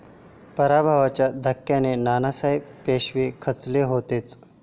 पराभवाच्या धक्क्याने नानासाहेब पेशवे खचले होतेच.